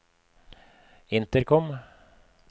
intercom